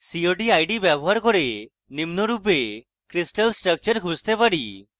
cod id ব্যবহার করে নিম্নরূপে crystal structure খুঁজতে পারি: